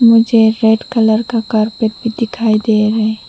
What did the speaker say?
मुझे red colour का carpet भी दिखाई दे रहा है।